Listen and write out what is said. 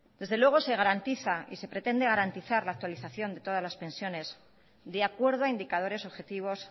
desde luego se garantiza y se pretende garantizar la actualización de todas las pensiones de acuerdo a indicadores objetivos